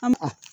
An ma